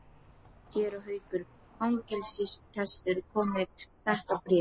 Séra Haukur fangelsisprestur kom með þetta bréf.